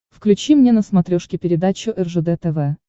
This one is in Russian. включи мне на смотрешке передачу ржд тв